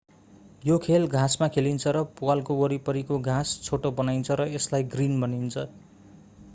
यो खेल घाँसमा खेलिन्छ र प्वालको वरिपरिको घाँस छोटो बनाइन्छ र यसलाई ग्रिन भनिन्छ